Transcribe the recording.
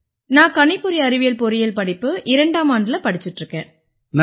நான் கணிப்பொறி அறிவியல் பொறியியல் படிப்பு இரண்டாம் ஆண்டுல படிச்சுட்டு இருக்கேன்